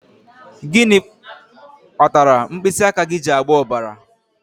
Gịnị kpatara mkpịsị aka gị ji agba ọbara?